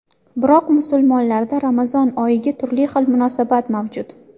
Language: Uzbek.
Biroq musulmonlarda Ramazon oyiga turli xil munosabat mavjud.